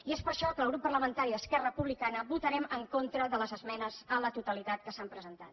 i és per això que el grup parlamentari d’esquerra republicana votarem en contra de les esmenes a la totalitat que s’han presentat